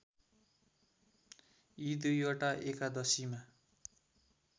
यी दुईवटा एकादशीमा